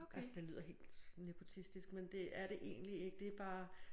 Altså det lyder helt nepotistisk men det er det egentlig ikke det er bare